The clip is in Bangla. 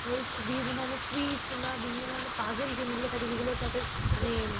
এই বিভিন্ন ধরণের quiz কিংবা বিভিন্ন ধরনের puzzle game গুলো থাকে যেগুলো তাদের মানে